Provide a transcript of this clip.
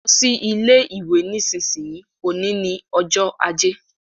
Lọ sí ilé ìwé nísinsìnyí, òní ni ọjọ́ ajé